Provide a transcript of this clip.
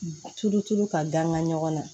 Tulu tulu ka danga ɲɔgɔn na